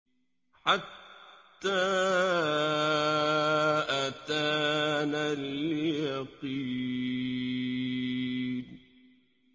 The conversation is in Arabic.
حَتَّىٰ أَتَانَا الْيَقِينُ